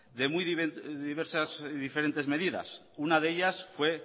de muy diversas y diferentes medidas una de ellas fue